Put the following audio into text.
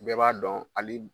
Bɛɛ b'a dɔn hali